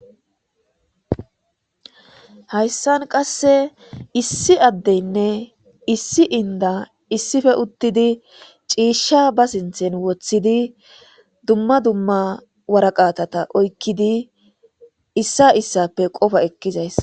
Hayssan qasse issi addeynne issi inda issife uttidi ciisha ba sinthen woththidi dumma dumma waraqatata oykkidi issa issappe qofa ekkizays.